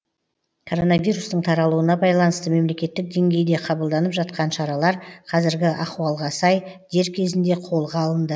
коронавирустың таралуына байланысты мемлекеттік деңгейде қабылданып жатқан шаралар қазіргі ахуалға сай дер кезінде қолға алынды